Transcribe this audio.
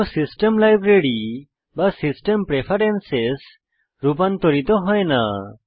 কোনোও system library বা system preference রুপান্তরিত হয় না